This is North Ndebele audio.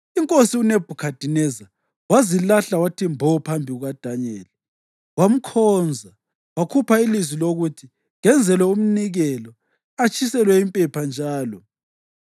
Inkosi uNebhukhadineza wazilahla wathi mbo phambi kukaDanyeli wamkhonza wakhupha ilizwi lokuthi kenzelwe umnikelo atshiselwe impepha njalo.